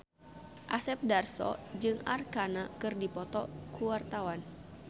Asep Darso jeung Arkarna keur dipoto ku wartawan